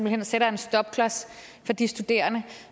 hen sætter en stopklods for de studerende